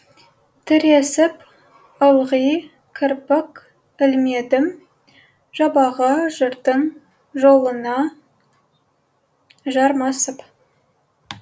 тіресіп ылғи кірпік ілмедім жабағы жырдың жолына жармасып